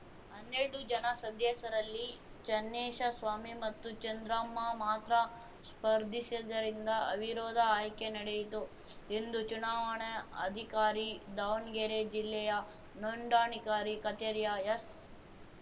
ಹನ್ನೆರಡು ಜನ ಸದ್ಯಸ್ಯರಲ್ಲಿ ಚನ್ನೇಶಸ್ವಾಮಿ ಮತ್ತು ಚಂದ್ರಮ್ಮ ಮಾತ್ರ ಸ್ಪರ್ಧಿಸಿದ್ದರಿಂದ ಅವಿರೋಧ ಆಯ್ಕೆ ನಡೆಯಿತು ಎಂದು ಚುನಾವಣ ಅಧಿಕಾರಿ ದಾವಣಗೆರೆ ಜಿಲ್ಲೆಯ ನೋಂದಾಣಿಕಾರಿ ಕಚೇರಿಯ ಎಸ್‌